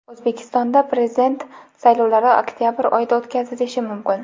O‘zbekistonda Prezident saylovlari oktabr oyida o‘tkazilishi mumkin.